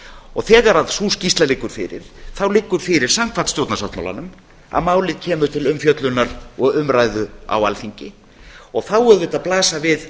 og þegar sú skýrsla liggur fyrir þá liggur fyrir samkvæmt stjórnarsáttmálanum að málið kemur til umfjöllunar og umræðu á alþingi og þá náttúrlega blasa við